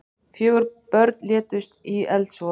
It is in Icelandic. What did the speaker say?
Fjögur börn létust í eldsvoða